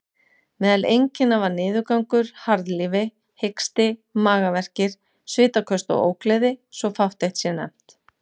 Meðal einkenna var niðurgangur, harðlífi, hiksti, magaverkir, svitaköst og ógleði, svo fátt eitt sé nefnt.